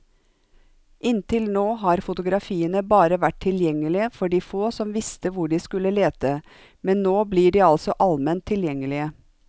Inntil nå har fotografiene bare vært tilgjengelige for de få som visste hvor de skulle lete, men nå blir de altså alment tilgjengelige.